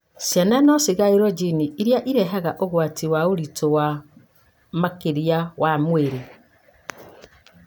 Ciana no cigaĩrwo jini ĩrĩa irehaga ũgwati wa ũritũ wa makĩria wa mwĩrĩ,